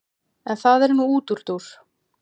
en það er nú útúrdúr